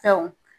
Fɛnw